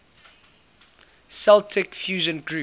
celtic fusion groups